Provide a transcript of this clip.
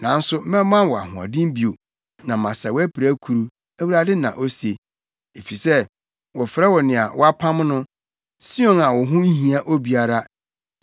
Nanso mɛma wo ahoɔden bio na masa wʼapirakuru,’ Awurade na ose, ‘efisɛ wɔfrɛ wo nea wɔapam no, Sion a wo ho nhia obiara.’ ”